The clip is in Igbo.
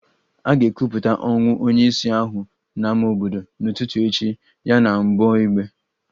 A ga-ekwupụta ọnwụ onye isi ahụ n'ámá obodo n'ụtụtụ echi ya na mgbọ egbe